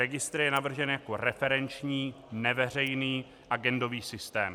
Registr je navržen jako referenční neveřejný agendový systém.